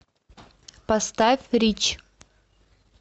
поставь рич